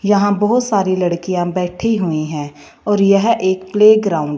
यहां बहुत सारी लड़कियां बैठी हुई हैं और यह एक प्ले ग्राउंड --